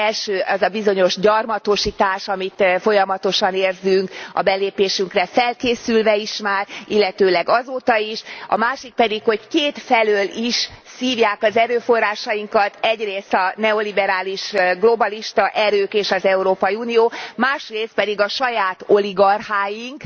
Az első az a bizonyos gyarmatosítás, amit folyamatosan érzünk a belépésünkre felkészülve is már, illetőleg azóta is, a másik pedig, hogy kétfelől is szívják az erőforrásainkat, egyrészt a neoliberális globalista erők és az Európai Unió, másrészt pedig a saját oligarcháink,